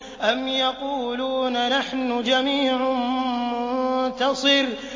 أَمْ يَقُولُونَ نَحْنُ جَمِيعٌ مُّنتَصِرٌ